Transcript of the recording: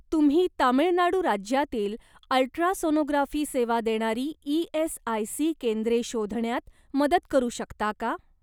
तुम्ही तामिळनाडू राज्यातील अल्ट्रासोनोग्राफी सेवा देणारी ई.एस.आय.सी. केंद्रे शोधण्यात मदत करू शकता का?